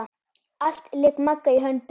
Allt lék Magga í höndum.